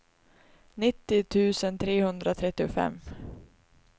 nittio tusen trehundratrettiofem